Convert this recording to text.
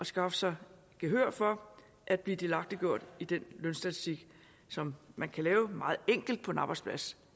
skaffe sig gehør for at blive delagtiggjort i den lønstatistik som man kan lave meget enkelt på en arbejdsplads